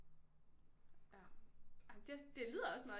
Ja ej det det lyder også meget